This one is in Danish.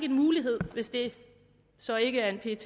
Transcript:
en mulighed hvis det så ikke er en pet